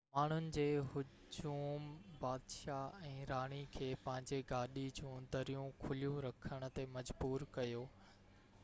ماڻهن جي هجوم بادشاه ۽ راڻي کي پنهنجي گاڏي جون دريون کليون رکڻ تي مجبور ڪيو